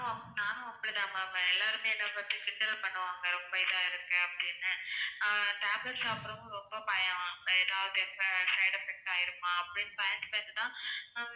நானும் நானும் அப்படி தான் ma'am எல்லாருமே என்ன பார்த்து கிண்டல் பண்ணுவாங்க ரொம்ப இதா இருக்கேன் அப்படின்னு ஆஹ் tablet சாப்பிட ரொம்ப பயம் ஏதாவது இப்போ side effect ஆகிடுமா அப்படின்னு பயந்து பயந்து தான்